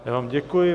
Já vám děkuji.